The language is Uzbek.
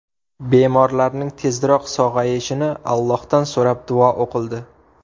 Bemorlarning tezroq sog‘ayishini Allohdan so‘rab, duo o‘qildi.